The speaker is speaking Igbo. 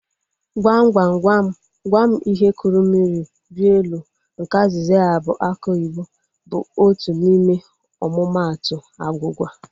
Gwam gwam gwam gwam ihe kụrụ mmiri rịa elu nke azịza ya bụ aki oyibo bụ otu n'ime omumatu agwugwa